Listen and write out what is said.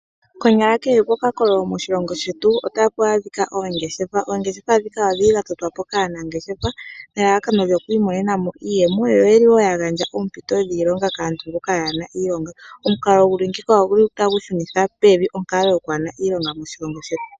Konyala kehe pokakololo moshilongo shetu otapu adhika oongeshefa. Oongeshefa ndhika odhili dha totwa po kaanangeshefa nelalakano lyoku imonena mo iiyemo, yo oyeli woo ya gandja oompito dhiilonga kaantu mboka yaana iilonga. Omukalo guli ngeyika oguli tagu shunitha pevi onkalo yokwaana iilonga moshilongo shetu.